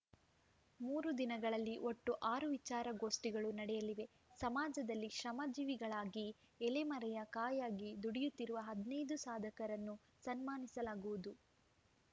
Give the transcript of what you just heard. ಮೂರು ದಿನಗಳಲ್ಲಿ ಒಟ್ಟು ಆರು ವಿಚಾರ ಗೋಷ್ಠಿಗಳು ನಡೆಯಲಿವೆ ಸಮಾಜದಲ್ಲಿ ಶ್ರಮಜೀವಿಗಳಾಗಿ ಎಲೆಮರೆಯ ಕಾಯಾಗಿ ದುಡಿಯುತ್ತಿರುವ ಹದಿನೈದು ಸಾಧಕರನ್ನು ಸನ್ಮಾನಿಸಲಾಗುವುದು